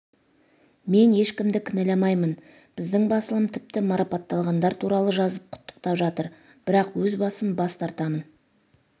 мен ешкімді кінәламаймын біздің басылым тіпті марапатталғандар туралы жазып құттықтап жатыр бірақ өз басым бас тартамын